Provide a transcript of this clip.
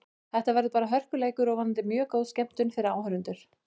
Þetta verður bara hörkuleikur og vonandi mjög góð skemmtun fyrir áhorfendur.